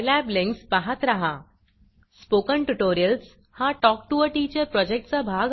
spoken tutorials हा project talk to teacher या प्रॉजेक्टचा भाग असून national mission on education through I